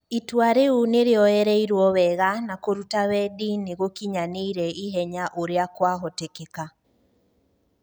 itua riu nirioyereirwo wega na kũruta wendi niigũkinyaniri ihenya ũria kwa hotekeka.